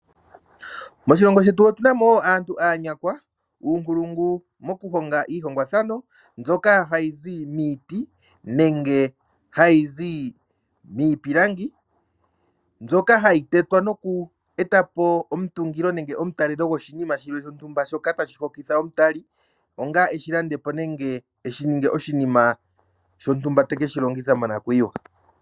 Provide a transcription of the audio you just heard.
Moshilongo shetu otuna mo aantu aanyakwa, uunkulungu mokuhonga iihongwathano mbyoka hayi zi miiti nenge hayi zi miipilangi. Mbyoka hayi tetwa noku eta po omutungilo nenge omutalelo goshinima shilwe shontumba shoka tashi hokitha omutali, onga eshi landepo nenge eshi ninge oshinima shontumba ta keshi longitha monakuyiwa.